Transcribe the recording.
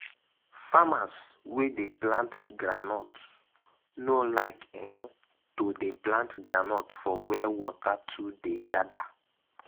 farmers wey dey plant groundnut no like um to dey plant groundnut for where water too dey gather.